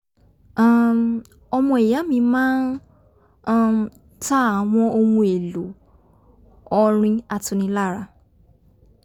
um ọmọ ìya mi máa um ń ta àwọn ohun èlò ọrin atunilára